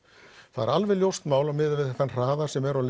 það er alveg ljóst mál miðað við þennan hraða sem er á